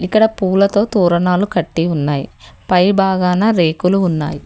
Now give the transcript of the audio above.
ఇక్కడ పూలతో తోరణాలు కట్టి ఉన్నాయి పై బాగాన రేకులు ఉన్నాయి.